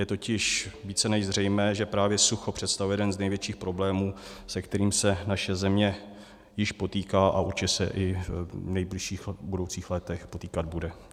Je totiž více než zřejmé, že právě sucho představuje jeden z největších problémů, se kterým se naše země již potýká a určitě se i v nejbližších budoucích letech potýkat bude.